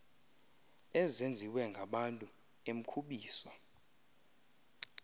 ezenziwe ngabantu emkhubiso